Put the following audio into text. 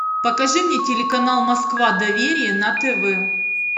покажи мне телеканал москва доверие на тв